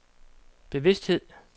bevidsthed